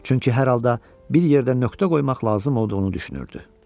Çünki hər halda bir yerdə nöqtə qoymaq lazım olduğunu düşünürdü.